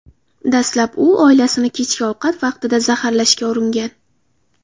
Dastlab u oilasini kechki ovqat vaqtida zaharlashga uringan.